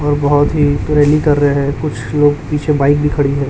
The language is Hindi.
और बहोत ही कर रहे है कुछ लोग पीछे बाइक भी खड़ी है।